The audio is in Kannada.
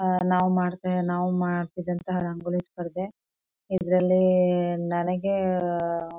ಆಹ್ಹ್ ನಾವು ಮಾಡ್ತೆ ನಾವು ಮಾಡ್ತೀವಿ ಅಂತಾಹ್ ರಂಗೋಲಿ ಸ್ಪರ್ಧೆ ಇದರಲ್ಲಿ ನನಿಗೆ.